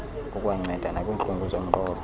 kukwanceda nakwiintlungu zomqolo